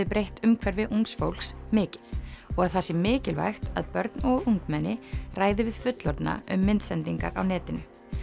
breytt umhverfi ungs fólks mikið og að það sé mikilvægt að börn og ungmenni ræði við fullorðna um myndsendingar á netinu